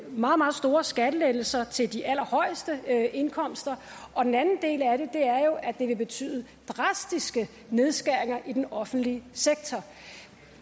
meget meget store skattelettelser til de allerhøjeste indkomster og den anden del af det er jo at det vil betyde drastiske nedskæringer i den offentlige sektor